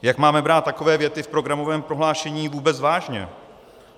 Jak máme brát takové věty v programovém prohlášení vůbec vážně?